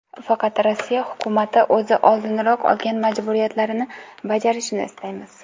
Faqat Rossiya hukumati o‘zi oldinroq olgan majburiyatlarini bajarishini istaymiz.